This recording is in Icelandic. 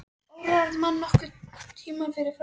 Órar mann nokkurn tímann fyrir framhaldinu.